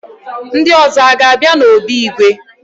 Ndị ọzọ aga-abịa n'obi igwe?